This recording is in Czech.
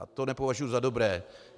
A to nepovažuji za dobré.